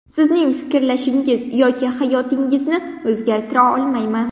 Sizning fikrlashingiz yoki hayotingizni o‘zgartira olmayman.